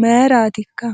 mayratikka ?